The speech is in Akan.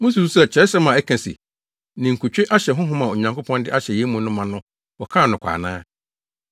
Mususuw sɛ Kyerɛwsɛm a ɛka se, “Ninkutwe ahyɛ honhom a Onyankopɔn de ahyɛ yɛn mu no ma” no wɔkaa no kwa ana?